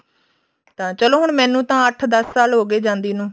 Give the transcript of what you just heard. ਚਲੋ ਹੁਣ ਮੈਨੂੰ ਤਾਂ ਅੱਠ ਦਸ ਸਾਲ ਹੋਗੇ ਜਾਂਦੀ ਨੂੰ